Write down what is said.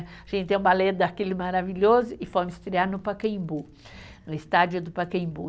A gente tem um balé daquele maravilhoso e fomos estrear no Pacaembu, no estádio do Pacaembu.